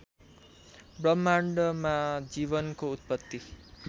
ब्रह्माण्डमा जीवनको उत्पत्ति